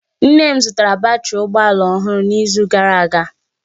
Nne m zụtara batrị ụgbọ ala ọhụrụ n'izu gara aga